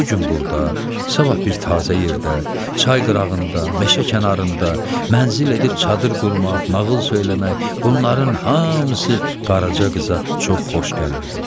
Bu gün burda, sabah bir təzə yerdə, çay qırağında, meşə kənarında, mənzil edib çadır qurmaq, nağıl söyləmək, bunların hamısı Qaraca qıza çox xoş gəlirdi.